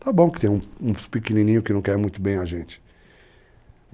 Tá bom que tem uns pequenininhos que não querem muito bem a gente.